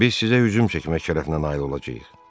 Biz sizə hücum çəkmək şərəfinə nail olacağıq.